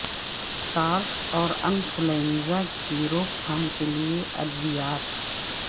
سارس اور انفلوئنزا کی روک تھام کے لئے ادویات